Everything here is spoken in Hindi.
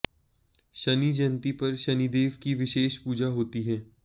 शनि जयंती पर शनिदेव की विशेष पूजा होती है